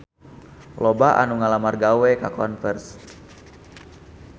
Loba anu ngalamar gawe ka Converse